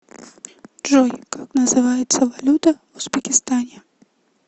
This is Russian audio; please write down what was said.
джой как называется валюта в узбекистане